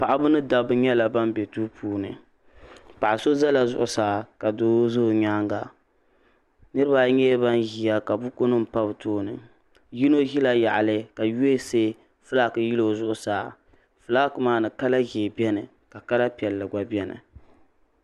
paɣaba ni dabba nyɛla ban be duu puuni paɣ' so zala zuɣusaa ka doo ʒe o nyaaga niriba ayi nyɛla ban ʒiya ka bukunima pa bɛ tooni yino ʒila yaɣili ka USA fulaaki yeli o zuɣusaa fulaaki maa ni kala ʒee beni ka kala piɛlli gba beni